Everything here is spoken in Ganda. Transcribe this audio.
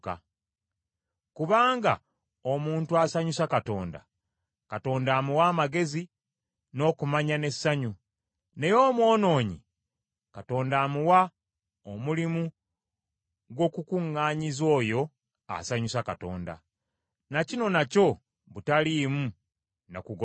Kubanga omuntu asanyusa Katonda, Katonda amuwa amagezi n’okumanya n’essanyu; naye omwonoonyi Katonda amuwa omulimu gw’okukuŋŋaanyiza oyo asanyusa Katonda. Na kino nakyo butaliimu na kugoberera mpewo.